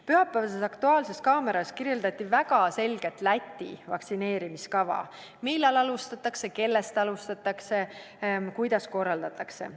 Pühapäevases "Aktuaalses kaameras" kirjeldati väga selgelt Läti vaktsineerimiskava – millal alustatakse, kellest alustatakse, kuidas korraldatakse.